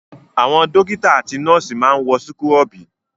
Àwọn dọ́kítá àti nọ́ọ́sì máa ń wọ súkúrọ́bì.